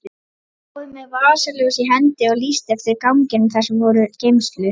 Hann stóð með vasaljós í hendi og lýsti eftir ganginum þar sem voru geymslur.